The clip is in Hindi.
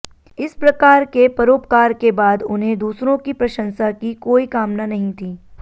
इस प्रकार के परोपकार के बाद उन्हें दूसरों की प्रशंसा की कोई कामना नहीं थी